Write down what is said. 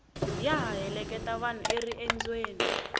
ya ha heleketa vanhu eriendzweni